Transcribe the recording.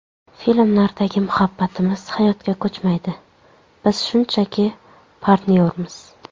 Filmlardagi ‘Muhabbatimiz’ hayotga ko‘chmaydi, biz shunchaki partnyormiz”.